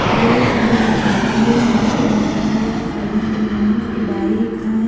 ये ये ये यहां पे बहुत सारे गाड़ियां खड़ी हुई हैं जो कि बाइक है।